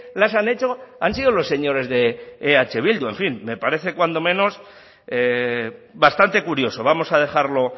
las han hecho han sido los señores de eh bildu en fin me parece cuando menos bastante curioso vamos a dejarlo